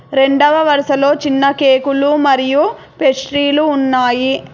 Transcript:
రెండవ వరుసలో చిన్న కేకులు మరియు పేస్ట్రీలు ఉన్నాయి.